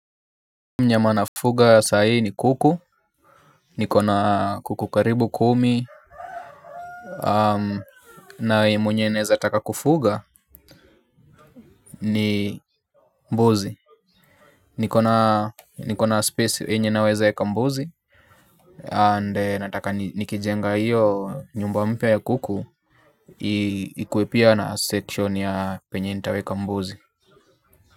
Mnyama na fuga sahi ni kuku, niko na kuku karibu kumi. Na mwenye naeza taka kufuga ni mbuzi. Niko na space yenye naweza weka mbuzi And nataka nikijenga hiyo nyumba mpya ya kuku. Ikuwe pia na section ya penye nitaweka mbuzi.